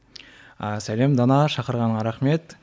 ы сәлем дана шақырғаныңа рахмет